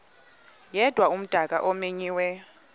yedwa umdaka omenyiweyo